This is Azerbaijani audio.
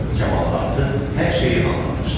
Kamal artıq hər şeyi anlamışdı.